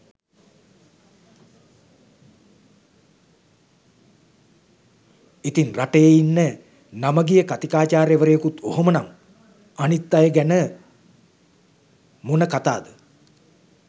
ඉතින් රටේ ඉන්න නම ගිය කතිකාචාර්ය වරයෙකුත් ඔහොම නම් අනිත් අය ගැන මොන කතාද?